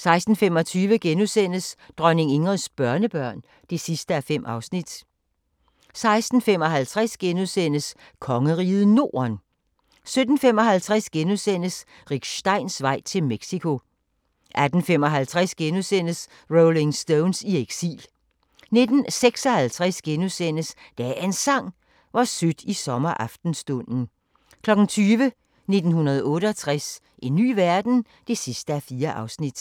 16:25: Dronning Ingrids børnebørn (5:5)* 16:55: Kongeriget Norden * 17:55: Rick Steins vej til Mexico (5:7)* 18:55: Rolling Stones i eksil * 19:56: Dagens Sang: Hvor sødt i sommeraftenstunden * 20:00: 1968 – en ny verden? (4:4)